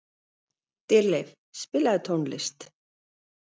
Dýrleif, spilaðu tónlist.